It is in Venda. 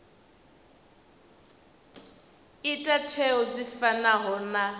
ita tsheo dzi fanaho na